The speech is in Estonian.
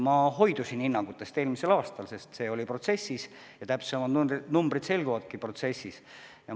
Ma hoidusin eelmisel aastal hinnangutest, sest protsess käib ja täpsemad numbrid selguvadki protsessi käigus.